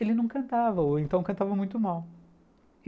Ele não cantava, ou então cantava muito mal.